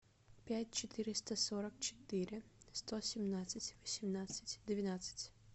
пять четыреста сорок четыре сто семнадцать восемнадцать двенадцать